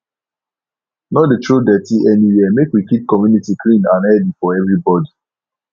no dey throw dirty anywhere make we keep community clean and healthy for everybody